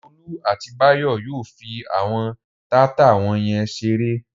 Olú àti Báyọ̀ yóò fi àwọn taata wọ̀nyẹn ṣeré.